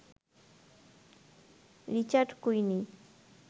Richard কুইনী